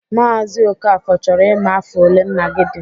Maazi Okafor chọrọ ịma afọ olee nna gị dị.